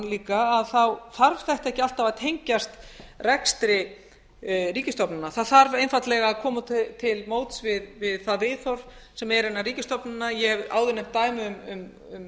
líka þarf þetta ekki alltaf að tengjast rekstri ríkisstofnana það þarf einfaldlega að koma til móts við það viðhorf sem er innan ríkisstofnana ég hef áður nefnt dæmi um